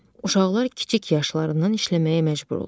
Uşaqlar kiçik yaşlarından işləməyə məcbur olur.